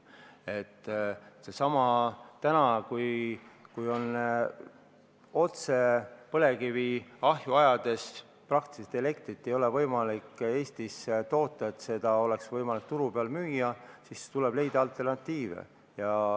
See on seesama asi, et kui põlevkivi otse ahju ajades ei ole praktiliselt võimalik enam Eestis elektrit toota, nii et seda oleks võimalik turu peal müüa, siis tuleb leida alternatiive.